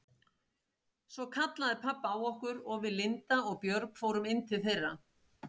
Svo kallaði pabbi á okkur og við Linda og Björg fórum inn til þeirra.